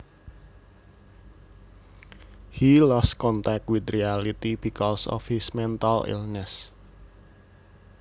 He lost contact with reality because of his mental illness